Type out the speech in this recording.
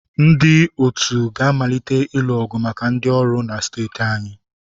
Ndị otu ga-amalite ịlụ ọgụ maka ndị ọrụ na steeti anyị.